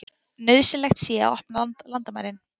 Nauðsynlegt sé að opna landamærin